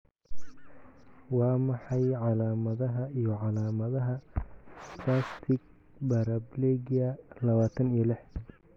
Waa maxay calaamadaha iyo calaamadaha spastic paraplegia lawatan iyo lix?